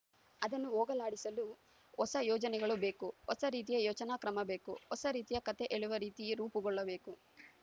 ಅದನ್ನು ಹೋಗಲಾಡಿಸಲು ಹೊಸ ಯೋಚನೆಗಳು ಬೇಕು ಹೊಸ ರೀತಿಯ ಯೋಚನಾ ಕ್ರಮಬೇಕು ಹೊಸ ರೀತಿಯ ಕಥೆ ಹೇಳುವ ರೀತಿ ರೂಪುಗೊಳ್ಳಬೇಕು